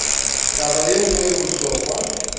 taba ye nngwe ye bohlokwa